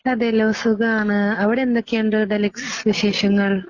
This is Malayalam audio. അതേല്ലോ... സുഖാണ്. അവിടെ എന്തൊക്കെയുണ്ട് വിശേഷങ്ങൾ